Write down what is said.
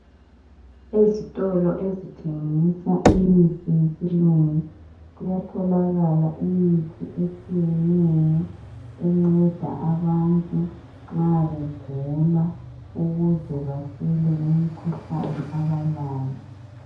Ezitolo ezithengisa imithi yesilungu kuyatholakala imithi etshiyeneyo enceda abanu nxa begula ukuze basile kumikhuhlane abalayo.